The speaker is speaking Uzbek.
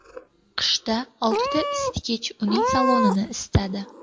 Qishda oltita isitgich uning salonini isitadi.